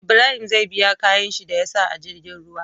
Ibrahim zai bi kayan shi da yasa a jirgin ruwa